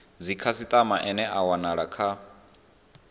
dzikhasitama ane a wanala kha